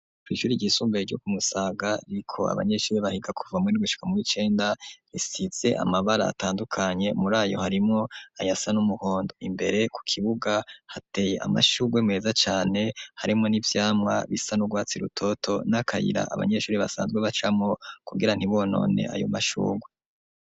kw'ishuri ry'isumbuye ryo ku Musaga riko abanyeshuri bahiga kuva muwindwi gushika muri cenda risize amabara atandukanye muri ayo harimo ayasa n'umuhondo imbere ku kibuga hateye amashurwe meza cane harimo n'ibyamwa bisa n'ugwatsi rutoto n'akayira abanyeshuri basanzwe bacamo kugira ntibonone ayo mashurwe.